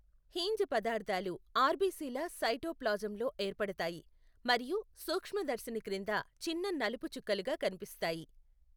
Heinz పదార్థాలు ఆర్బిసిల సైటోప్లాజంలో ఏర్పడతాయి మరియు సూక్ష్మదర్శిని క్రింద చిన్న నలుపు చుక్కలుగా కనిపిస్తాయి.